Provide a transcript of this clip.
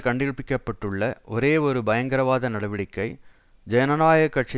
கண்டுபிடிக்கப்பட்டுள்ள ஒரே ஒரு பயங்கரவாத நடவடிக்கை ஜனநாயக கட்சி